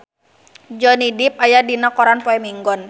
Johnny Depp aya dina koran poe Minggon